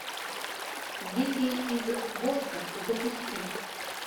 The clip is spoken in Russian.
дети из воска запусти